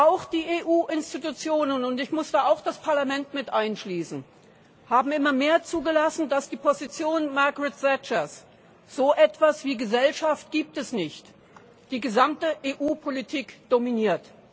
Auch die EU Institutionen und ich muss auch das Parlament mit einschließen haben immer mehr zugelassen, dass die Position Margaret Thatchers So etwas wie Gesellschaft gibt es nicht die gesamte EU Politik dominiert.